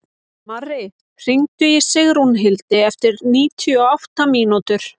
Marri, hringdu í Sigrúnhildi eftir níutíu og átta mínútur.